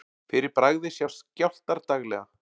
Fyrir bragðið sjást skjálftar daglega.